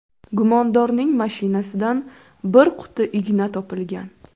Gumondorning mashinasidan bir quti igna topilgan.